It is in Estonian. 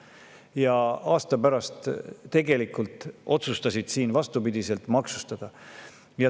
Ja aasta pärast nad tegelikult otsustasid vastupidiselt selle maksustada.